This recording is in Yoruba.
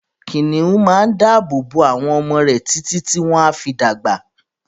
kìnìún máa n dábò bo àwọn ọmọ rè títi tí wọ́n á fi dàgbà.